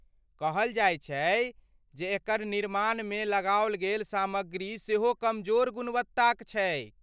कहल जाइत छैक जे एकर निर्माणमे लगाओल गेल सामग्री सेहो कमजोर गुणवत्ताक छैक।